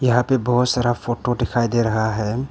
यहां पे बहुत सारा फोटो दिखाई दे रहा है।